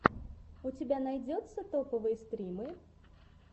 у тебя найдется топовые стримы